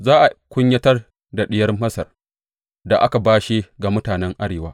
Za a kunyatar da Diyar Masar, da aka bashe ga mutanen arewa.